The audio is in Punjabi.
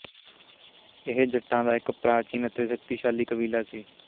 ਇਹ ਜੱਟਾਂ ਦਾ ਇੱਕ ਪ੍ਰਾਚੀਨ ਤੇ ਸ਼ਕਤੀਸ਼ਾਲੀ ਕਬੀਲਾ ਸੀ